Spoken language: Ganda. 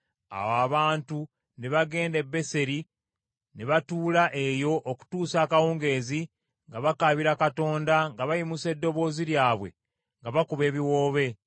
Awo abantu ne bagenda e Beseri ne batuula eyo okutuusa akawungeezi nga bakaabira Katonda, nga bayimusa eddoboozi lyabwe, nga bakuba ebiwoobe,